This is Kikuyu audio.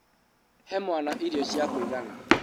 He mwana irio cia kũigana.